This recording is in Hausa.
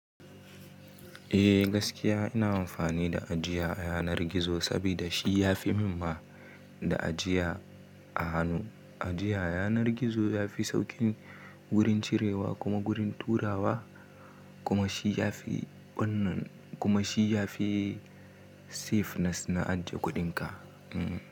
Eh gaskiya ina amfani da ajiya a yanar gizo saboda shi ya fi min ma da ajiya a hannu. Ajiya a yanar gizo ya fi sauƙin gurin cirewa kuma gurin turawa kuma shi ya fi wannan kuma shi ya fi safeness na aje kuɗinka. Hmm.